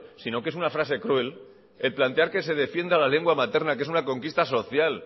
sino que es una frase cruel el plantear que se defienda la lengua materna que es una conquista social